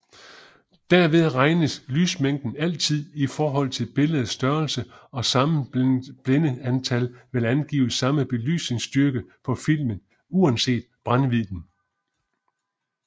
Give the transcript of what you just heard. Derved regnes lysmængden altid i forhold til billedets størrelse og samme blændetal vil angive samme belysningsstyrke på filmen uanset brændvidden